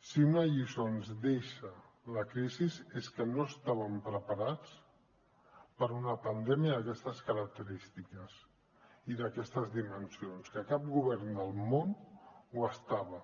si una lliçó ens deixa la crisi és que no estàvem preparats per a una pandèmia d’aquestes característiques i d’aquestes dimensions que cap govern del món ho estava